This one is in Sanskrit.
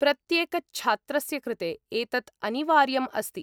प्रत्येकच्छात्रस्य कृते एतत् अनिवार्यम् अस्ति।